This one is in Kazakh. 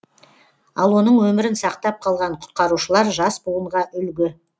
ал оның өмірін сақтап қалған құтқарушылар жас буынға үлгі